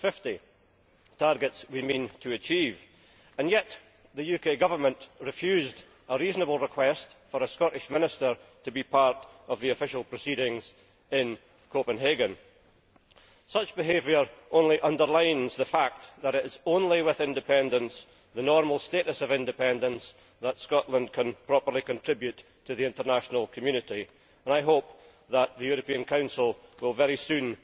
2050. These are targets which we mean to achieve, and yet the UK Government refused a reasonable request for a Scottish minister to be part of the official proceedings in Copenhagen. Such behaviour only underlines the fact that it is only with independence the normal status of independence that Scotland can properly contribute to the international community, and I hope that the European Council will very soon